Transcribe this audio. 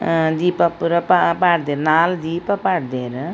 ಹಾ ದೀಪ ಪೂರ ಪಾ ಪಾಡ್ದೆರ್ ನಾಲ್ ದೀಪ ಪಾಡ್ಡೆರ್.